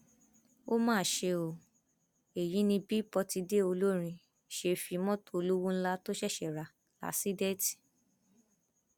ó mà ṣe o èyí ni bí pọtidé olórin ṣe fi mọtò olówó ńlá tó ṣẹṣẹ rà láṣèdìtì